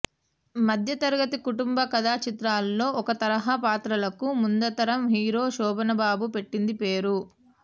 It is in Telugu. మధ్యతరగతి కుటుంబ కథా చిత్రాల్లో ఒక తరహా పాత్రలకు ముందుతరం హీరో శోభన్బాబు పెట్టింది పేరు